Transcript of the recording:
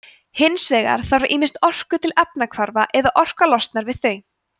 hins vegar þarf ýmist orku til efnahvarfa eða orka losnar við þau